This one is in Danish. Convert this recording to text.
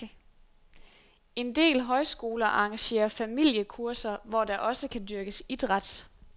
En del højskoler arrangerer familiekurser, hvor der også kan dyrkes idræt.